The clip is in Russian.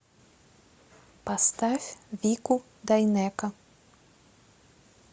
поставь вику дайнеко